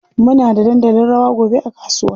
Muna da dandalin rawa gobe a kasuwa.